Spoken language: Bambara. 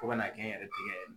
Fo ka n'a kɛ n yɛrɛ tigɛ